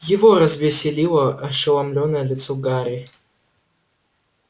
его развеселило ошеломлённое лицо гарри